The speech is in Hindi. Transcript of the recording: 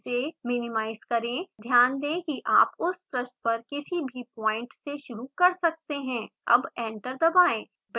इसे मिनिमाइज़ करें ध्यान दें कि आप उस पृष्ठ पर किसी भी पॉइंट से शुरू कर सकते हैं अब एंटर दबाएं